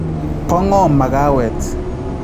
Po ng'oo magaaweet?